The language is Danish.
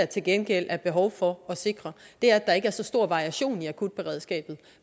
til gengæld er behov for at sikre er at der ikke er så stor variation i akutberedskabet